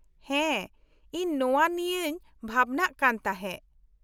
-ᱦᱮᱸ ᱤᱧ ᱱᱚᱶᱟ ᱱᱤᱭᱟᱹᱧ ᱵᱷᱟᱵᱽᱱᱟᱜ ᱠᱟᱱ ᱛᱟᱦᱮᱸ ᱾